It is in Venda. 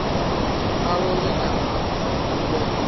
a lovhe kana hu vhe